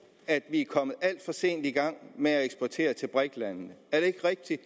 at vi er kommet alt for sent i gang med at eksportere til brik landene er det ikke rigtigt